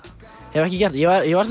hef ekki gert það ég var